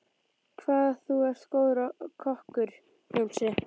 Hvað þú er góður kokkur, Jónsi.